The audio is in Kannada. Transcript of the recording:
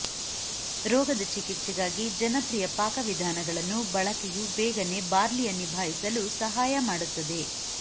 ರೋಗದ ಚಿಕಿತ್ಸೆಗಾಗಿ ಜನಪ್ರಿಯ ಪಾಕವಿಧಾನಗಳನ್ನು ಬಳಕೆಯು ಬೇಗನೆ ಬಾರ್ಲಿಯ ನಿಭಾಯಿಸಲು ಸಹಾಯ ಮಾಡುತ್ತದೆ